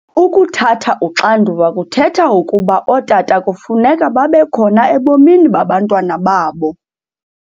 Ukuthatha uxanduva kuthetha ukuba ootata kufuneka babekhona ebomini babantwana babo.